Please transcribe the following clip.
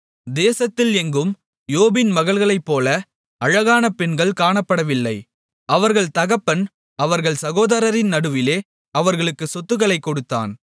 தேசத்தில் எங்கும் யோபின் மகள்களைப்போல அழகான பெண்கள் காணப்படவில்லை அவர்கள் தகப்பன் அவர்கள் சகோதரரின் நடுவிலே அவர்களுக்கு சொத்துக்களைக் கொடுத்தான்